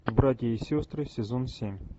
братья и сестры сезон семь